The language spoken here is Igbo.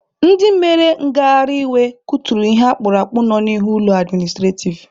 Ndị mere ngaharị iwe kuturu ihe akpurakpụ nọ n'ihu ụlọ administrativ.